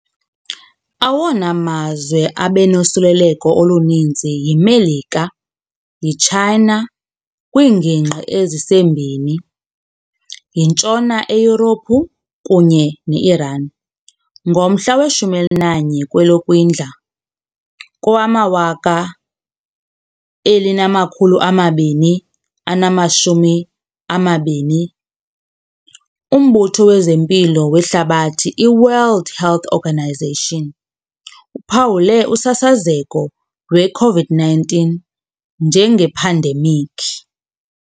Awona mazwe abenosoluleleko oluninzi yiMelika, yiChina kwiingingqi ezisembini, yintshona eYurophu kunye neIran. Ngomhla we-11 kweyoKwindla kowama-2020, uMbutho wezeMpilo weHlabathi, iWorld Health Organisation, uphawule usasazeko lweCOVID-19 njengephandemikhi.